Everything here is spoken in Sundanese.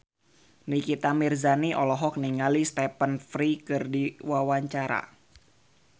Nikita Mirzani olohok ningali Stephen Fry keur diwawancara